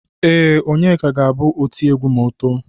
Ee, Onyeka ga-abụ otiegwu ma o too.